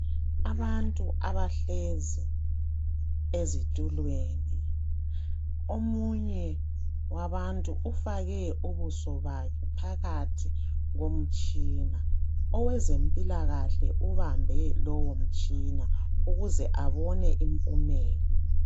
Abantu abahlezi ezitulweni omunye wabantu ufake ubuso bakhe phakathi komtshina owezempilakahle ubambe lowo mtshina ukuze abone impumela.